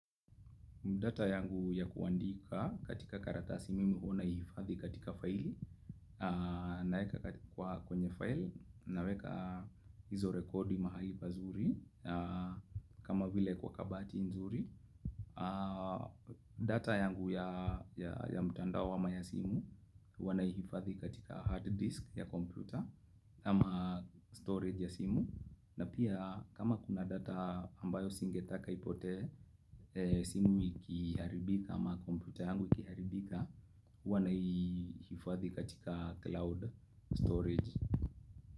Data yangu ya kuandika katika karatasi mi una ihifadhi katika file naweka kwa kwenye file naweka hizo rekodi mahali bazuri kama vile kwa kabati nzuri. Data yangu ya mtandao ama ya simu wanaihifadhi katika hard disk ya kompyuta ama storage ya simu. Na pia kama kuna data ambayo singetaka ipotee, simu ikiharibika ama komputa yangu ikiharibika, huwa na hifadhi katika cloud storage.